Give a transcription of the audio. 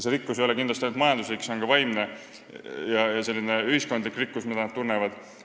See ei ole kindlasti ainult majanduslik rikkus, see on ka vaimne ja ühiskondlik rikkus, mida nad tunnevad.